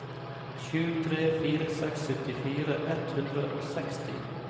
sju tre fire seks syttifire ett hundre og seksti